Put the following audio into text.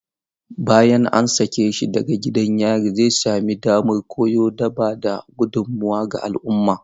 Bayan an sake shi daga gidan yari, zai sami damar koyo da ba da gudummawa ga al'umma.